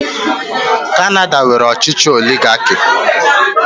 Kanada nwere ọchịchị oligaki.